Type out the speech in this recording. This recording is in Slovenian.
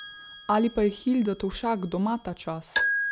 Ali pa je Hilda Tovšak doma tačas?